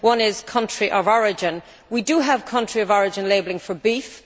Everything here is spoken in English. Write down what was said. One is country of origin. We do have country of origin labelling for beef.